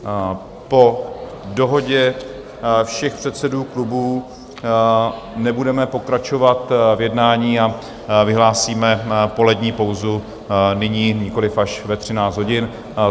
Po dohodě všech předsedů klubů nebudeme pokračovat v jednání a vyhlásíme polední pauzu nyní, nikoliv až ve 13 hodin.